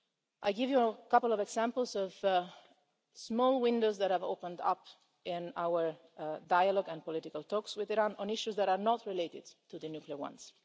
it. I'll give you a couple of examples of small windows that have opened up in our dialogue and political talks with Iran on issues that are not related to the nuclear ones.